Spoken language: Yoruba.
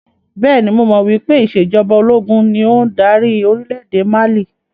Bẹ́ẹ̀ni, mo mọ̀ wípé ìsèjọba ológun ni ó ń dárí orílédé Mali